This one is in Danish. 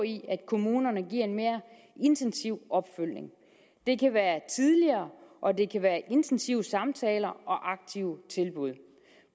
i at kommunerne giver en mere intensiv opfølgning det kan være tidligere og det kan være intensive samtaler og aktive tilbud